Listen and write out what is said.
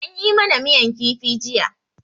An yi ma na miyan kifi jiya.